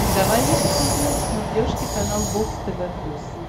давай я посмотрю на смотрешке канал бокс тв плюс